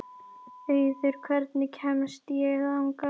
Auður, hvernig kemst ég þangað?